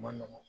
Ma nɔgɔn